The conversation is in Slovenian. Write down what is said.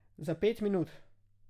Za pet minut.